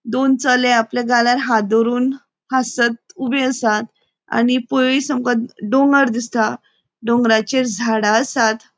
दोन चले आपल्या गालार हाथ दोवरून हासत ऊबे आसात आणि पोयस आमका डोंगर दिसता डोंगराचेर झाडा आसात.